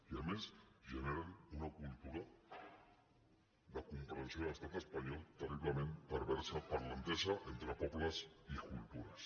i a més generen una cultura de comprensió a l’estat espanyol terriblement perversa per a l’entesa entre pobles i cultures